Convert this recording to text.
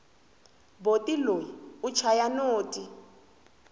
boti loyi u chaya noti